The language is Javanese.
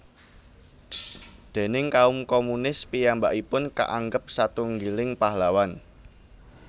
Déning kaum komunis piyambakipun kaanggep satunggiling pahlawan